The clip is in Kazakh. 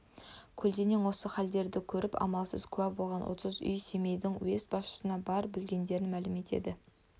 көлденеңнен осы халдерді көріп амалсыз куә болған отыз үй семейдің уезд басшысына бар білгендерін мәлім етеді